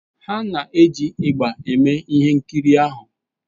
Ha na-eji ịgbà eme ihe nkiri ahụ.